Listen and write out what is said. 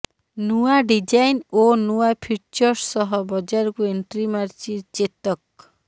ନୂଆ ଡିଜାଇନ ଓ ନୂଆ ଫିଚର୍ସ ସହ ବଜାରକୁ ଏଣ୍ଟ୍ରି ମାରିଛି ଚେତକ